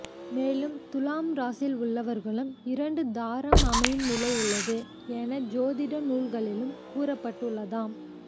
மேலும் துலாம் ராசியில் உள்ளவர்களும் இரண்டு தாரம் அமையும் நிலை உள்ளது என ஜோதிட நூல்களிலும் கூறப்பட்டு உள்ளதாம்